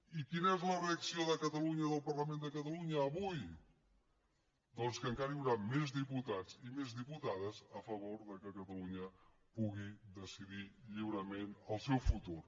i quina és la reacció de catalunya del parlament de catalunya avui doncs que encara hi haurà més diputats i més diputades a favor que catalunya pugui decidir lliurement el seu futur